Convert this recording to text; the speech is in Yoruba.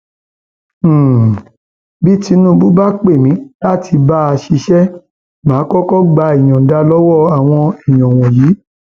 um bí tinúbù bá pè mí láti bá a um ṣiṣẹ má a kọkọ gba ìyọǹda lọwọ àwọn èèyàn wọnyí